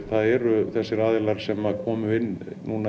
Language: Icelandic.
það eru þessir aðilar sem komu inn